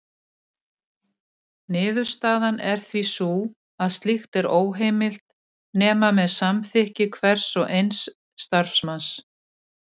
Niðurstaðan er því sú að slíkt er óheimilt nema með samþykki hvers og eins starfsmanns.